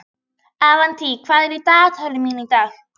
Avantí, hvað er í dagatalinu mínu í dag?